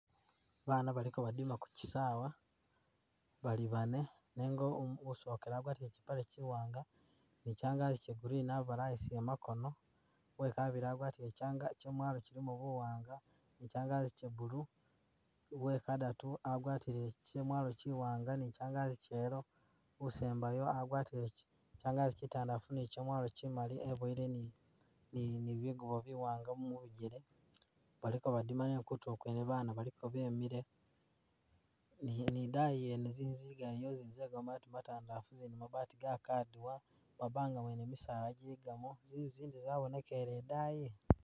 Ba bana baliko badima ku kisawa bali bane, nenga usokele wagwatile kyi pale kyi wanga ni kyangagi Kya green abalayisile makono, uwekabili agwatile kyamwalo kyilimo bu wanga kyangagi Kya blue, uwe kadatu agwatile kyamwalo kyi wanga ni kyangagi kya yellow,u sembayo agwatile kyangagi kyitandafu ni kyamwalo kyi mali ebuyile ni bigubo bi wanga mubijele, baliko badima nenga kutulo kwene ba bana baliko bemile ni idayi yene zinzu ziligayo niyo zili ze kamabati matandalafu mabati ga kadiwa mu ma banga mwene misaala giligamo zinzu zindi zabonekele idayi.